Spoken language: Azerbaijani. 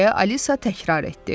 deyə Alisa təkrar etdi.